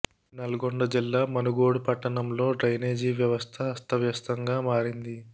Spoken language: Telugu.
నల్గొండ జిల్లా మునుగోడు పట్టణంలో డ్రైనేజీ వ్యవస్థ అస్త వ్యస్థంగా మారింది